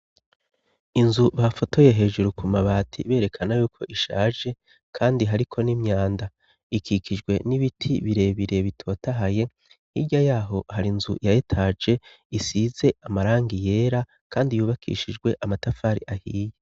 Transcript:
Inzu bafotoye hejuru ku mabati berekana yuko ishaje, kandi hariko n'imyanda ikikijwe n'ibiti birebire bitotahaye irya yaho hari inzu yayetaje isize amarangi yera, kandi yubakishijwe amatafari ahiye.